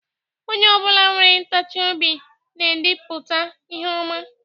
Onye obula nwere ntachi obi na-edipulta ihe oma.